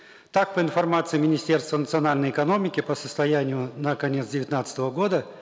так по информации министерства национальной экономики по состоянию на конец девятнадцатого года